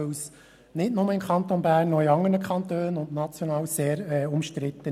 Denn nicht nur im Kanton Bern, sondern auch in anderen Kantonen und national ist diese sehr umstritten.